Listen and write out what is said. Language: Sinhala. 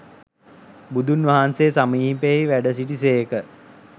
බුදුන් වහන්සේ සමීපයෙහි වැඩ සිටි සේක.